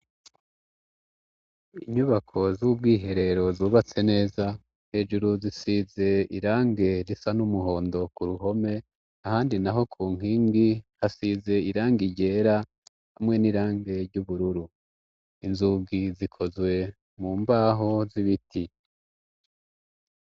Inyubako z'ubwiherero zubatse neza hejuru zisize irangi risa n'umuhondo ku ruhome ahandi naho ku nkingi hasize irange igera hamwe n'irange ry'ubururu inzugi zikozwe mu mbaho z'ibiti.